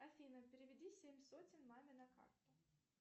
афина переведи семь сотен маме на карту